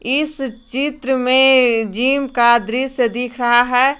इस चित्र में जिम का दृश्य दिख रहा है।